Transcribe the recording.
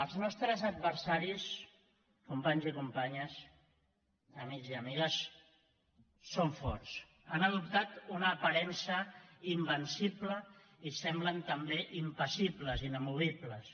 els nostres adversaris companys i companyes amics i amigues són forts han adoptat una aparença invencible i semblen també impassibles inamovibles